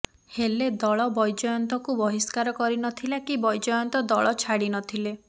ହେଲେ ଦଳ ବୈଜୟନ୍ତଙ୍କୁ ବହିଷ୍କାର କରି ନଥିଲା କି ବୈଜୟନ୍ତ ଦଳ ଛାଡ଼ି ନଥିଲେ